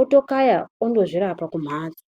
otokayawo onozvirape kumhatso .